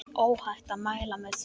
Óhætt að mæla með því.